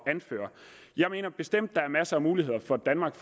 anføre jeg mener bestemt at der er masser muligheder for danmark